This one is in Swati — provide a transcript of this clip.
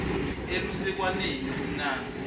elusekwaneni kumnandzi